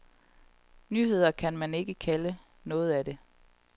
Nyheder kan man ikke kalde meget af det.